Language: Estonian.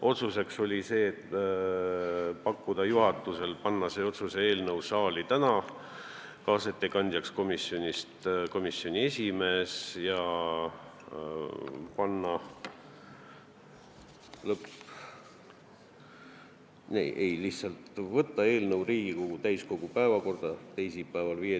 Otsus oli teha juhatusele ettepanek võtta see eelnõu teisipäeva, 15. jaanuari istungi päevakorda ja määrata kaasettekandjaks komisjoni esimees.